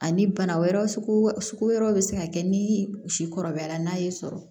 Ani bana wɛrɛw sugu wɛrɛw bɛ se ka kɛ ni kɔrɔbayara la n'a y'i sɔrɔ